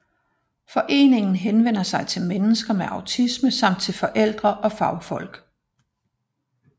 Foreningen henvender sig til mennesker med autisme samt til forældre og fagfolk